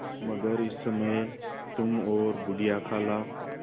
मगर इस समय तुम और बूढ़ी खाला